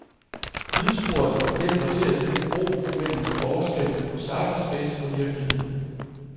Lydsporet hjælper til at bygge bro mellem forskellen på cyberspace og virkelighed.